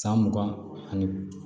San mugan ani